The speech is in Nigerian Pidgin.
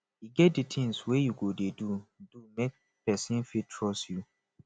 e get di tins wey you go dey do make pesin fit trust you